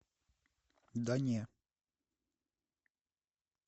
да не